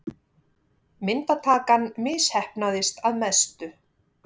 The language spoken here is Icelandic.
Myndatakan misheppnaðist að mestu.